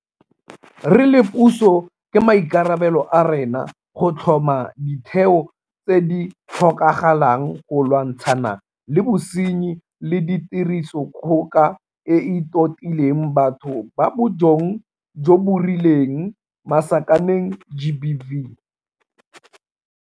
Re le puso ke maikarabelo a rona go tlhoma ditheo tse di tlhokagalang go lwantshana le bosenyi le tirisodikgoka e e totileng batho ba bong jo bo rileng GBV.